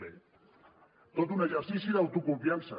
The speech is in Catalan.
bé tot un exercici de autoconfiança